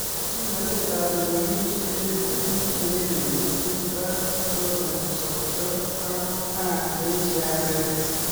Kimnatet ap lewenisiet eng piik chengering chekitoret pichotok kosopchoo Ako taak eng siaseet